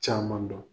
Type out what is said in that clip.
Caman dɔn